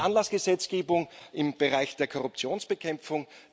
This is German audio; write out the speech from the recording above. Es gibt Anlassgesetzgebung im Bereich der Korruptionsbekämpfung.